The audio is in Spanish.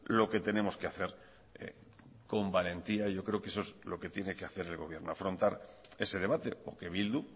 lo que tenemos que hacer con valentía yo creo que eso es lo que tiene que hacer el gobierno afrontar ese debate o que bildu